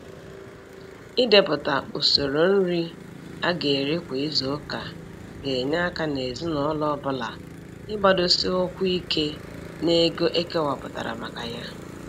Ịdepụta usoro nri a ga eri kwa izuuka ga enye aka n'ezinụlọ ọ bụla ịgbadosi ụkwụ ike n'ego ekewapụtara maka ya.